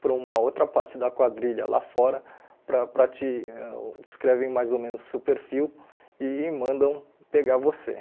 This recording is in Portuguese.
para uma outra parte da quadrilha lá fora para para te ãh descrevem mais ou menos o seu perfil e mandam pegar você.